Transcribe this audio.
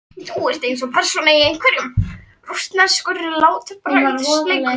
Þú ert eins og persóna í einhverjum. rússneskum látbragðsleik.